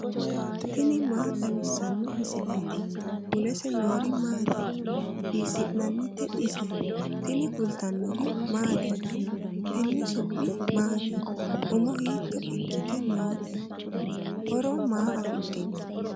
tini maa xawissanno misileeti ? mulese noori maati ? hiissinannite ise ? tini kultannori mattiya? tenne su'mi maatti? Umo hiitto ikkitte nootte? horo maa afidhinno?